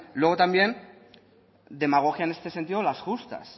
luego también demagogia en este sentido las justas